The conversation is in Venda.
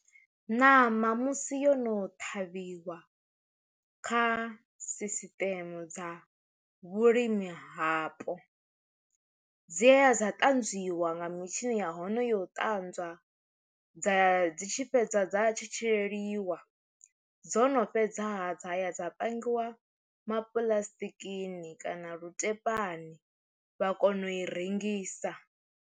Ṋama musi yo no ṱhavhiwa kha sisiṱeme dza vhulimi hapo, dziya dza tanzwiwa nga mitshini ya hone yo u ṱanzwa dza dzi tshi fhedza dza tshi tshi leliwa dzo no fhedza ha dzaya dza pangiwa ma puḽasitikini kana lutepani vha kona u i rengisa.